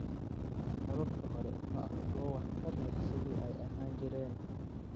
Hababka hore ma aha kuwo waxtar u leh sidii ay ahaan jireen.